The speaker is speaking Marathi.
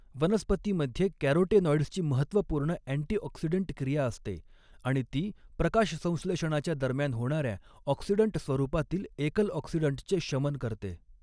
वनस्पतीमध्ये कॅरोटेनॉइड्सची महत्त्वपूर्ण अँटी ऑक्सिडंट क्रिया असते आणि ती प्रकाश संश्लेषणाच्या दरम्यान होणाऱ्या ऑक्सिडंट स्वरूपातील एकल ऑक्सिडंटचे शमन करते.